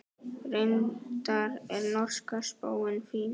Reyndar er norska spáin fín.